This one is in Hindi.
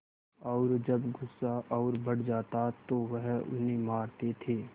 और जब गुस्सा और बढ़ जाता तो वह उन्हें मारते थे